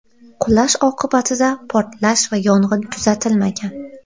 Qulash oqibatida portlash va yong‘in kuzatilmagan.